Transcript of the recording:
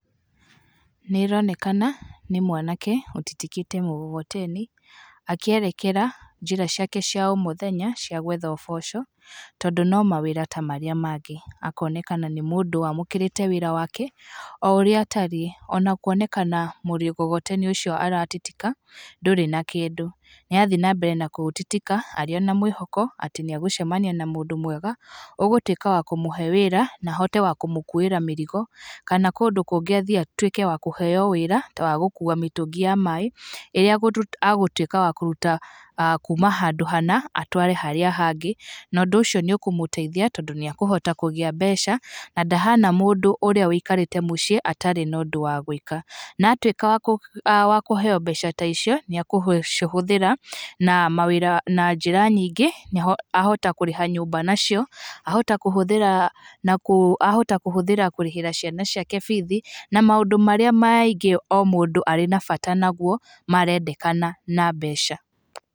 Nĩ ĩronekana nĩ mwanake ũtitikĩte mugogoteni akĩerekera njĩra ciake cia o mũthenya cia gwetha ũboco, tondũ no mawĩra ta marĩa mangĩ, akonekana nĩ mũndũ wamũkĩrĩte wĩra wake o ũrĩa atariĩ, ona kuonekana mũgogoteni ũcio aratitika ndũrĩ na kĩndũ. Nĩ arathiĩ na mbere na kũũtitika arĩ na mwĩhoko atĩ nĩ egũcemania na mũndũ mwega ũgũtwĩka wa kũmũhe wĩra na ahote wa kũmũkuĩra mĩrigo kana kũndũ kũngĩ athiĩ atwĩke wa kũheo wĩra wa gũkua mĩtũngi ya maĩ ĩrĩa agũtuĩka wa kũruta kuma handũ hana atware harĩa hangĩ na ũndũ ũcio nĩ ũkũmũteithia tondũ nĩ ekũhota kũgĩa mbeca na ndahana mũndũ ũrĩa ũikarĩte mũciĩ atarĩ na ũndũ wa gwĩka na atwĩka wa kũheo mbeca ta icio nĩ agũcihuthĩra na njĩra nyingĩ, ahota kũrĩha nyumba nacio, ahota kũhũthĩra kũrĩhĩra ciana ciake bithi na maũndũ marĩa maingĩ mũndũ arĩ na bata naguo marendekana na mbeca.